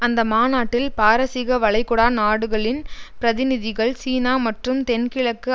அந்த மாநாட்டில் பாரசீக வளைகுடா நாடுகளின் பிரதிநிதிகள் சீனா மற்றும் தென்கிழக்கு